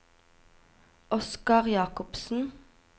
Oscar Jakobsen